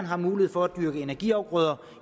har mulighed for at dyrke energiafgrøder